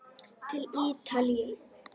Til Ítalíu!